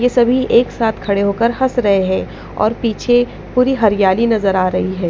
ये सभी एक साथ खड़े होकर हंस रहे हैं और पीछे पूरी हरियाली नजर आ रही है।